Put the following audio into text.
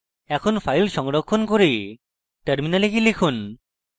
এখন file সংরক্ষণ করে terminal গিয়ে লিখুন